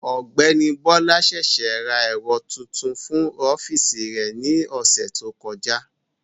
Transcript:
Ọ̀gbẹ́ni Bọ́lá ṣèṣé ra ẹ̀rọ tuntun fún ọ́fíìsì rẹ̀ ní ọ̀sẹ̀ tó kọjá